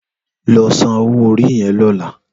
Lò sànwó óri yèn lòlá